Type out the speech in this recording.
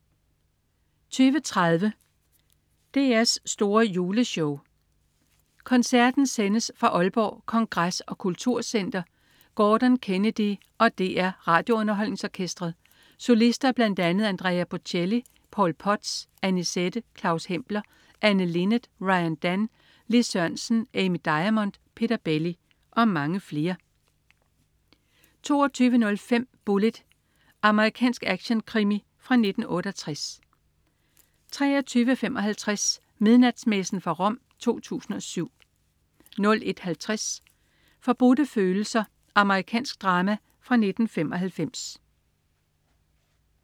20.30 DR's store Juleshow. Koncerten sendes fra Aalborg Kongres og Kultur Center. Gordon Kennedy og DR RadioUnderholdningsOrkestret. Solister bl.a.: Andrea Bocelli, Paul Potts, Anisette, Claus Hempler, Anne Linnet, RyanDan, Lis Sørensen, Amy Diamond, Peter Belli og mange flere 22.05 Bullitt. Amerikansk actionkrimi fra 1968 23.55 Midnatsmessen fra Rom 2007 01.50 Forbudte følelser. Amerikansk drama fra 1995